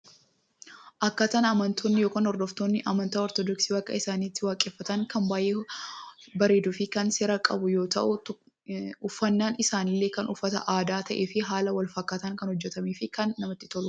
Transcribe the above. Akkaataan amantoonni yookiin hordoftoonni amantaa ortoodoksii waaqa isaanii itti waaqeefatan kan baay’ee bareeduufi kan seera qabu yoo ta'u uffannaan isaaniillee kan uffata aadaa ta'eefi haala walfakkaatuun kan hojjetameefi kan namatti toludha.